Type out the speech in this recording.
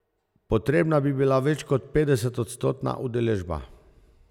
Potrebna bi bila več kot petdesetodstotna udeležba.